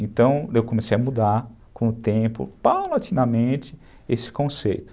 Então, eu comecei a mudar com o tempo, paulatinamente, esse conceito.